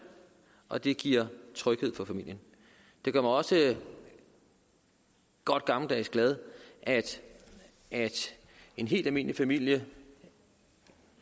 og det giver tryghed for familien det gør mig også godt gammeldags glad at en helt almindelig familie